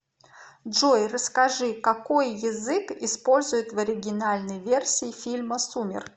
джой расскажи какои язык используют в оригинальнои версии фильма сумерки